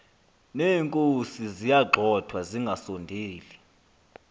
neenkozi ziyagxothwa zingasondeli